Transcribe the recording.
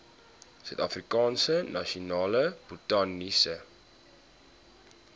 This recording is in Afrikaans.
suidafrikaanse nasionale botaniese